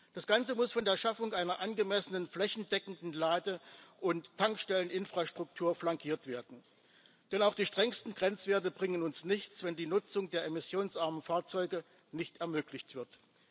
Das Ganze muss von der Schaffung einer angemessenen flächendeckenden Lade und Tankstelleninfrastruktur flankiert werden, denn auch die strengsten Grenzwerte bringen uns nichts, wenn die Nutzung der emissionsarmen Fahrzeuge nicht ermöglicht wird.